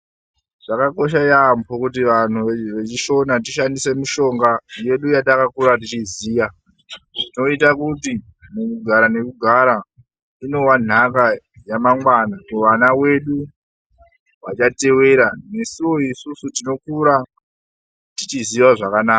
Zvakakosha yaambo kuti vanhu veChiShona tishandise mishonga yedu yatakakura tichiziya. Zvinoita kuti mukugara nekugara, inowa nhaka yamangwana kuwana wedu wachatewera nesuwo isusu tinokura tichiziwa zvakanaka.